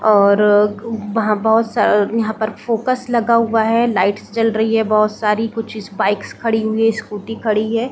और वहाँ बहुत सा-- यहाँ पर फोकस लगा हुआ है लाइट्स जल रही है बहुत सारी कुछ बाइक्स खड़ी हुई है स्कूटी खड़ी है।